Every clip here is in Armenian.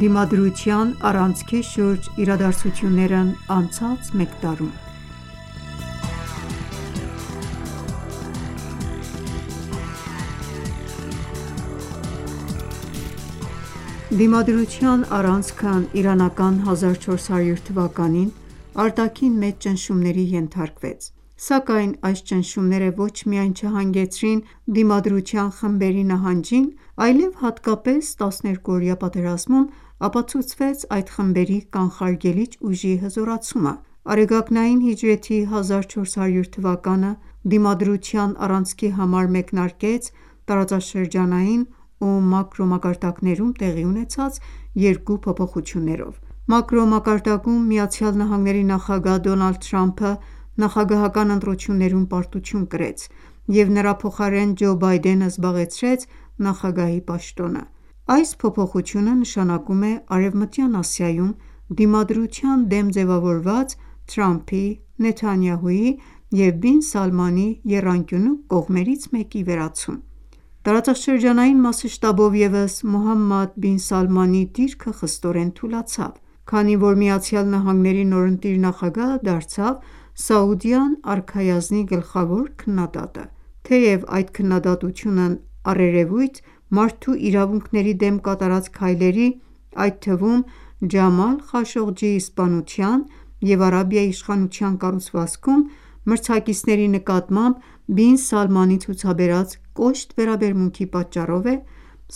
Դիմադրության առանցքի շուրջ իրադարձություններն անցած մեկ տարում Դիմադրության առանցքն իրանական 1400 թվականին արտաքին մեծ ճնշումների ենթարկվեց։ Սակայն այս ճնշումները ոչ միայն չհանգեցրին Դիմադրության խմբերի նահանջին, այլև հատկապես 12-օրյա պատերազմում ապացուցվեց այդ խմբերի կանխարգելիչ ուժի հզորացումը: Արեգակնային հիջրեթի 1400 թվականը (2021թ. մարտի 21-2022թ. մարտի 21) Դիմադրության առանցքի համար մեկնարկեց տարածաշրջանային ու մակրո մակարդակներում տեղի ունեցած երկու փոփոխություններով: Մակրո մակարդակում ԱՄՆ նախագահ Դոնալդ Թրամփը նախագահական ընտրություններում պարտություն կրեց և նրա փոխարեն Ջո Բայդենը զբաղեցրեց նախագահի պաշտոնը: Այս փոփոխությունը նշանակում է Արևմտյան Ասիայում Դիմադրության դեմ ձևավորված Թրամփի, Նեթանյահուի և Բին Սալմանի եռանկյունու կողմերից մեկի վերացում: Տարածաշրջանային մասշտաբով ևս Մոհամմադ Բին Սալմանի դիրքը խստորեն թուլացավ, քանի որ ԱՄՆ նորընտիր նախագահը դարձավ Սաուդյան արքայազնի գլխավոր քննադատը: Թեև այդ քննադատությունն առերևույթ մարդու իրավունքների դեմ կատարած քայլերի, այդ թվում՝ Ջամալ Խաշողջիի սպանության, և Արաբիայի իշխանության կառուցվածքում մրցակիցների նկատմամբ Բին Սալմանի ցուցաբերած կոշտ վերաբերմունքի պատճառով է,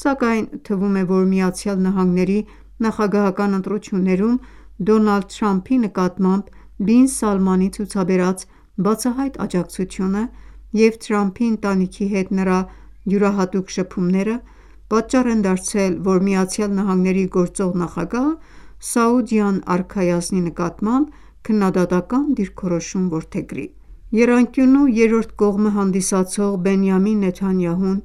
սակայն թվում է, որ ԱՄՆ նախագահական ընտրություններում Դոնալդ Թրամփի նկատմամբ Բին Սալմանի ցուցաբերած բացահայտ աջակցությունը և Թրամփի ընտանիքի հետ նրա յուրահատուկ շփումները պատճառ են դարձել, որ ԱՄՆ-ի գործող նախագահը Սաուդյան արքայազնի նկատմամբ քննադատական դիրքորոշում որդեգրի: Եռանկյունու երրորդ կողմը հանդիսացող Բենիամին Նեթանյահուն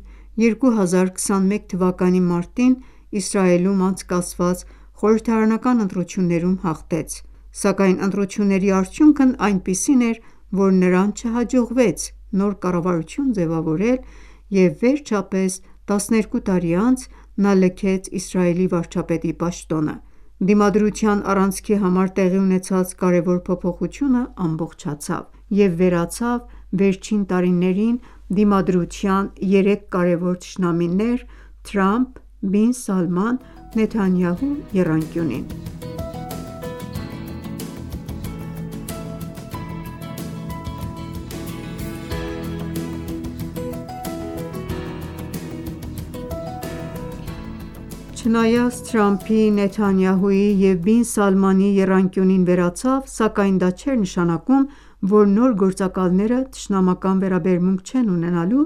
2021 թվականի մարտին Իսրայելում անցկացված խորհրդարանական ընտրություններում հաղթեց, սակայն ընտրությունների արդյունքն այնպիսին էր, որ նրան չհաջողվեց նոր կառավարություն ձևավորել և վերջապես 12 տարի անց նա լքեց Իսրայելի վարչապետի պաշտոնը: Դիմադրության առանցքի համար տեղի ունեցած կարևոր փոփոխությունն ամբողջացավ և վերացավ վերջին տարիներին Դիմադրության երեք կարևոր թշնամիներ՝ Թրամփ-Բին Սալման-Նեթանյահու եռանկյունին: Չնայած Թրամփի, Նեթանյահուի և Բին Սալմանի եռանկյունին վերացավ, սակայն դա չէր նշանակում, որ նոր գործակալները թշնամական վերաբերմունք չեն ունենալու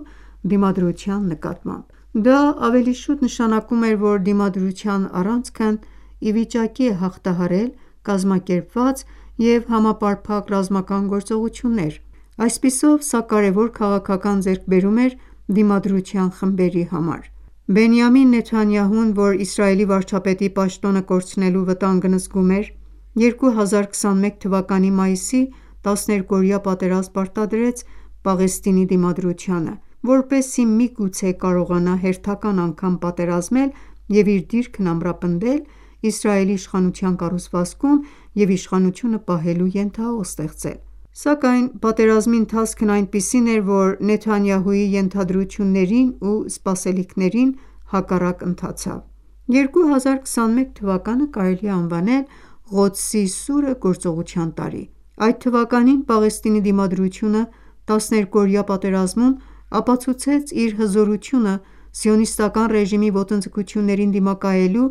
Դիմադրության նկատմամբ: Դա ավելի շուտ նշանակում էր, որ Դիմադրության առանցքն ի վիճակի է հաղթահարել կազմակերպված և համապարփակ ռազմական գործողություններ։ Այսպիսով, սա կարևոր քաղաքական ձեռքբերում էր Դիմադրության խմբերի համար: Բենիամին Նեթանյահուն, որ Իսրայելի վարչապետի պաշտոնը կորցնելու վտանգն զգում էր, 2021 թվականի մայիսին 12-օրյա պատերազմ պարտադրեց Պաղեստինի Դիմադրությանը, որպեսզի միգուցե կարողանա հերթական անգամ պատերազմել և իր դիրքն ամրապնել Իսրայելի իշխանության կառուցվածքում ու իշխանությունը պահելու ենթահող ստեղծել: Սակայն բայց պատերազմի ընթացքն այնպիսին էր, որ Նեթանյահուի ենթադրություններին ու սպասելիքներին հակառակ ընթացավ: 2021 թվականը կարելի է անվանել «Ղոդսի սուրը» գործողության տարի: Այդ թվականին Պաղեստինի Դիմադրությունը 12-օրյա պատերազմում ապացուցեց իր հզորությունը Սիոնիստական ռեժիմի ոտնձգություններին դիմակայելու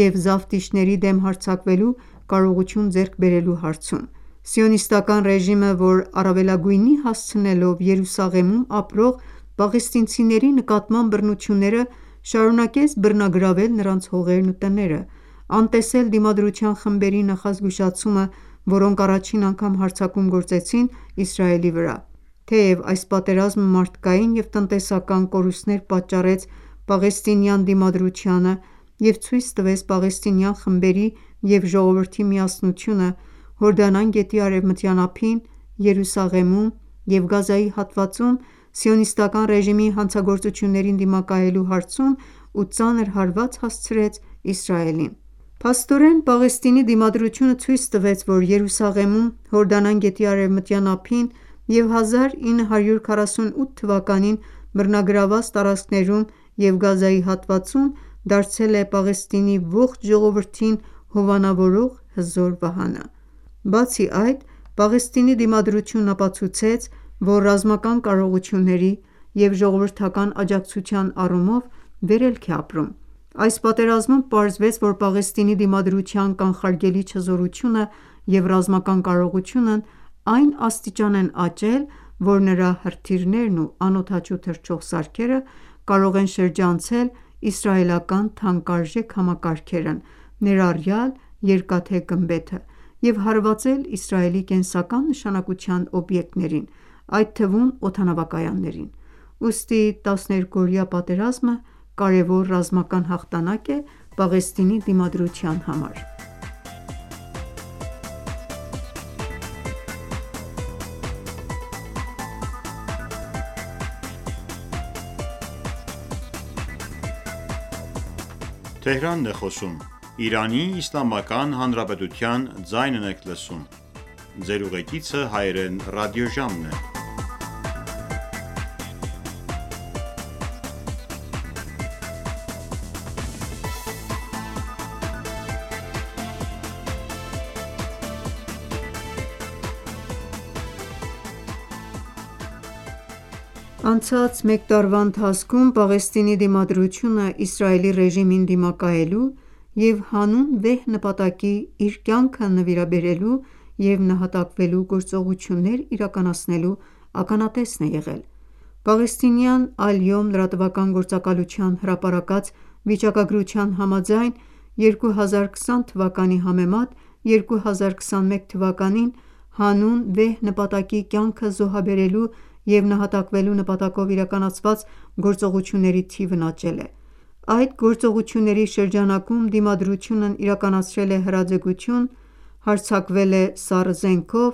և զավթիչների դեմ հարձակվելու կարողություն ձեռք բերելու հարցում: Սիոնիստական ​​ռեժիմը, որ առավելագույնի հասցնելով Երուսաղեմում (Ղոդս) ապրող պաղեստինցիների նկատմամբ բռնությունները, շարունակեց բռնագրավել նրանց հողերն ու տները, անտեսել Դիմադրության խմբերի նախազգուշացումը, որոնք առաջին անգամ հարձակում գործեցին Իսրայելի վրա։ Թեև այս պատերազմը մարդկային և տնտեսական կորուստներ պատճառեց պաղեստինյան դիմադրությանը, և ցույց տվեց պաղեստինյան խմբերի և ժողովրդի միասնությունը՝ Հորդանան գետի Արևմտյան ափին, Երուսաղեմում և Գազայի հատվածում Սիոնիստական ​​ռեժիմի հանցագործություններին դիմակայելու հարցում ու ծանր հարված հասցրեց Իսրայելին։ Փաստորեն Պաղեստինի Դիմադրությունը ցույց տվեց, որ Երուսաղեմում, Հորդանան գետի արևմտյան ափին և 1948 թվականին բռնագրաված տարածքներում ու Գազայի հատվածում դարձել է Պաղեստինի ողջ ժողովրդին հովանավորող հզոր վահանը: Բացի այդ, Պաղեստինի Դիմադրությունն ապացուցեց, որ ռազմական կարողությունների և ժողովրդական աջակցության առումով վերելք է ապրում։ Այս պատերազմում պարզվեց, որ Պաղեստինի Դիմադրության կանխարգելիչ հզորությունը և ռազմական կարողությունն այն աստիճան են աճել, որ նրա հրթիռներն ու ԱԹՍ-երը կարող են շրջանցել իսրայելական թանկարժեք համակարգերն ներառյալ՝ «Երկաթե գմբեթ»-ից և հարվածել Իսրայելի կենսական նշանակության օբյեկտներին, այդ թվում՝ օդանավակայաններին: Ուստի 12-օրյա պատերազմը կարևոր ռազմական հաղթանակ է Պաղեստինի Դիմադրության համար: Անցած մեկ տարվա ընթացքում Պաղեստինի Դիմադրությունը Իսրայելի ռեժիմին դիմակայելու և հանուն վեհ նպատակի իր կյանքը նվիրաբերելու և նահատակվելու գործողություններ իրականացնելու ականատեսն է եղել: Պաղեստինյան «Ալյոմ» լրատվական գործակալության հրապարակած վիճակագրության համաձայն՝ 2020 թվականի համեմատ, 2021 թվականին, հանուն վեհ նպատակի կյանքը զոհաբերելու և նահատակվելու նպատակով իրականացված գործողությունների թիվն աճել է: Այդ գործողությունների շրջանակում Դիմադրությունն իրականացրել է հրաձգություն, հարձակվել է սառը զենքով,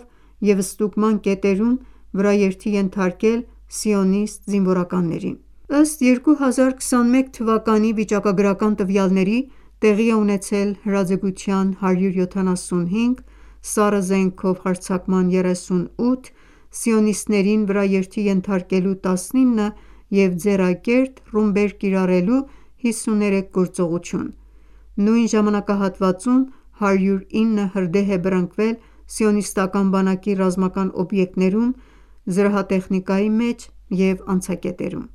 և ստուգման կետերում վրաերթի ենթարկել սիոնիստ զինվորականներին: Ըստ 2021 թվականի վիճակագրական տվյալների՝ տեղի է ունեցել հրաձգության 175, սառը զենքով 38, սիոնիստներին վրաերթի ենթարկելու 19 և ձեռակերտ ռումբեր կիրառելու 53 գործողություն։ Նույն ժամանակահատվածում 109 հրդեհ է բռնկվել Սիոնիստական բանակի ռազմական օբյեկտներում, զրահատեխնիկայի մեջ և անցակետերում։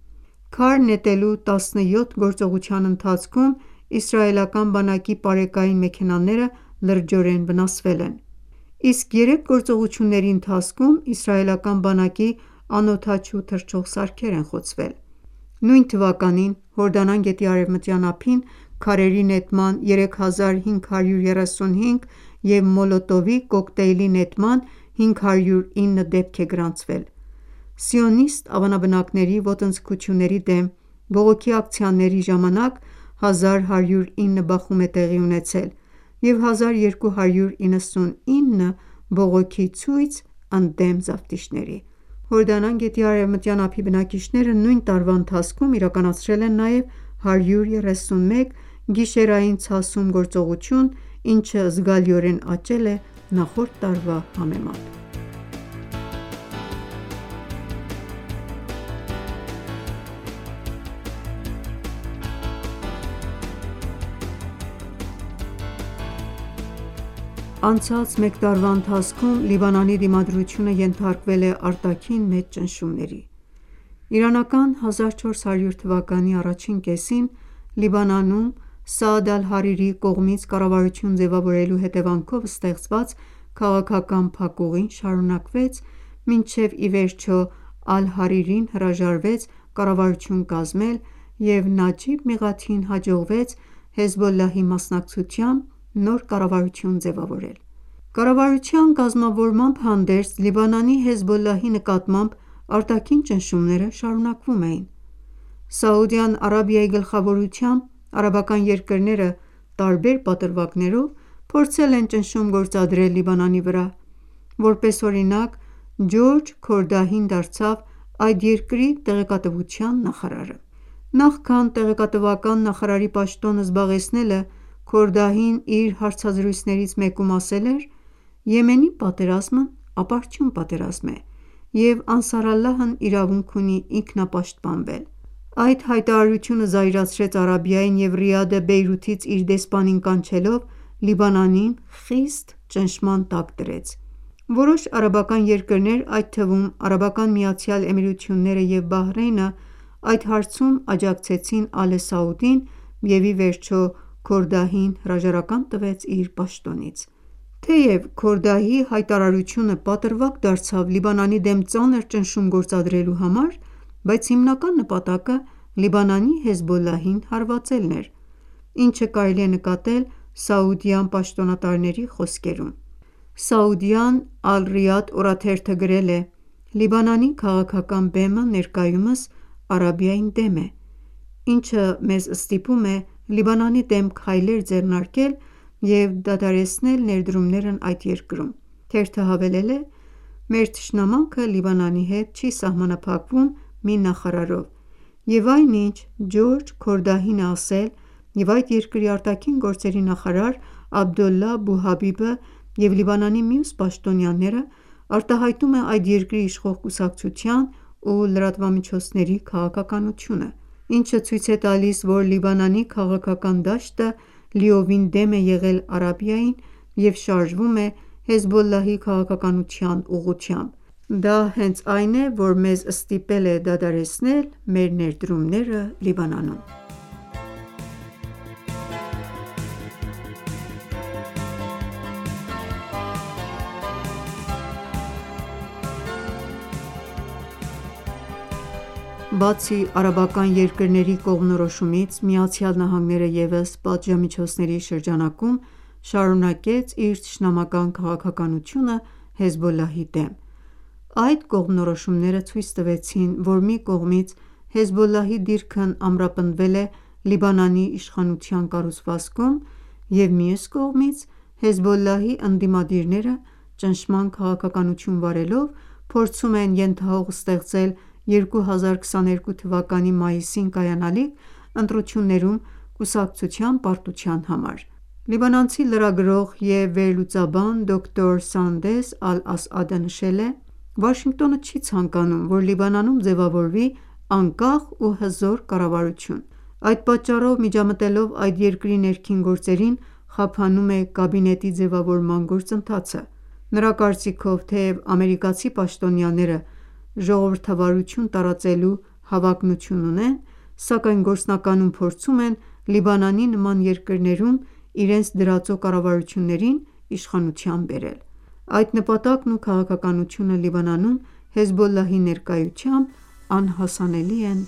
Քար նետելու 17 գործողության ընթացքում իսրայելական բանակի պարեկային մեքենաները լրջորեն վնասվել են։ Իսկ երեք գործողությունների ընթացքում իսրայելական բանակի անօդաչու թռչող սարքեր են խոցվել։ Նույն թվականին Հորդանան գետի արևմտյան ափին քարերի նետման 3535 և մոլոտովի կոկտեյլի նետման 509 դեպք է գրանցվել։ Սիոնիստ ավանաբնակների ոտձգությունների դեմ բողոքի ակցիաների ժամանալ 1109 բախում է տեղի ունեցել, և 1299 բողոքի ցույց ընդդեմ զավթիչների: Հորդանան գետի արևմտյան ափի բնակիչները նույն տարվա ընթացքում իրականացրել են նաև 131 «Գիշերային ցասում» գործողություն, ինչը զգալիորեն աճել է նախորդ տարվա համեմատ։ Անցած մեկ տարվա ընթացքում Լիբանանի Դիմադրությունը ենթարկվել է արտաքին մեծ ճնշումների: Իրանական 1400 թվականի առաջին կեսին Լիբանանում Սաադ Ալ-Հարիրիի կողմից կառավարություն ձևավորելու հետևանքով ստեղծված քաղաքական փակուղին շարունակվեց, մինչև ի վերջո Ալ-Հարիրին հրաժարվեց կառավարություն կազմել և Նաջիբ Միղաթիին հաջողվեց «Հեզբոլլահ»ի մասնակցությամբ նոր կառավարություն ձևավորել: Կառավարության կազմավորմամբ հանդերձ, Լիբանանի «Հեզբոլլահ»ի նկատմամբ արտաքին ճնշումները շարունակվում էին: Սաուդյան Արաբիայի գլխավորությամբ արաբական երկրները տարբեր պատրվակներով փորձել են ճնշում գործադրել Լիբանանի վրա: Որպես օրինակ, Ջորջ Քորդահին դարձավ այդ երկրի տեղեկատվության նախարարը: Նախքան տեղեկատվական նախարարի պաշտոնը զբաղեցնելը, Քորդահին իր հարցազրույցներից մեկում ասել էր, որ Եմենի պատերազմն ապարդյուն պատերազմ է և «Անսարալլահն» իրավունք ունի ինքնապաշտպանվել: Այդ հայտարարությունը զայրացրեց Արաբիային և Ռիադը Բեյրութից իր դեսպանին կանչելով, Լիբանանին խիստ ճնշման տակ դրեց: Որոշ արաբական երկրներ, այդ թվում՝ Արաբական Միացյալ Էմիրություններն ու Բահրյենն այդ հարցում աջակցեցին Ալե Սաուդին և ի վերջո Քորդահին հրաժարական տվեց իր պաշտոնից: Թեև Քորդահիի հայտարարությունը պատրվակ դարձավ Լիբանանի դեմ ծանր ճնշում գործադրելու համար, բայց հիմնական նպատակը Լիբանանի «Հեզբոլլահ»-ին հարվածելն էր, ինչը կարելի է նկատել Սաուդյան պաշտոնատարների խոսքերում: Սաուդյան «Ալ-Ռիադ» օրաթերթը գրել է. «Լիբանանի քաղաքական բեմը ներկայումս Արաբիային դեմ է, ինչը մեզ ստիպում է Լիբանանի դեմ քայլեր ձեռնարկել և դադարեցնել ներդումներն այդ երկրում»: Թերթը հավելել է.«Մեր թշնամանքը Լիբանանի հետ չի սահմանափակվում մի նախարարով, և այն ինչ Ջորջ Քորդահին է ասել և այդ երկրի ԱԳ նախարար Աբդոլլահ Բու Հաբիբը և Լիբանանի մյուս պաշտոնյաները, արտահայտում է այդ երկրի իշխող կուսակցության ու լրատվամիջոցների քաղաքականությունը, ինչը ցույց է տալիս, որ Լիբանանի քաղաքական դաշտը լիովին դեմ է եղել Արաբիային, և շարժվում է «Հեզբոլլահ»-ի քաղաքականության ուղղությամբ: Դա հենց այն է,որ մեզ ստիպել է դադարեցնել մեր ներդրումները Լիբանանում»: Բացի արաբական երկրների կողմնորոշումից, ԱՄՆ-ն ևս պատժամիջոցների շրջանակում շարունակեց իր թշնամական քաղաքականությունը «Հեզբոլլահ»-ի դեմ: Այդ կողմնորոշումները ցույց տվեցին, որ մի կողմից Հեզբոլլահի դիրքն ամրապնդվել է Լիբանանի իշխանության կառուցվածքում, և մյուս կողմից «Հեզբոլլահ»-ի ընդդիմադիրները ճնշման քաղաքականություն վարելով փորձում են ենթահող ստեղծել 2022 թվականի մայիսին կայանալիք ընտրություններում կուսակցության պարտության համար: Լիբանանցի լրագրող և վերլուծաբան դոկտոր Սանդես Ալ-Ասաադը նշել է.«Վաշինգտոնը չի ցանկանում, որ Լիբանանում ձևավորվի անկախ ու հզոր կառավարություն, այդ պատճառով, միջամտելով այդ երկրի ներքին գործերին, խափանում է կաբինետի ձևավորման գործընթացը»: Նրա կարծիքով, թեև ամերիկացի պաշտոնյաները ժողովրդավարություն տարածելու հավակնություն ունեն, սակայն գործնականում փորձում են Լիբանանի նման երկրներում իրենց դրածո կառավարություններին իշխանության բերել: Այդ նպատակն ու քաղաքականությունը Լիբանանում «Հեզբոլլահ»-ի ներկայությամբ անհասանելի են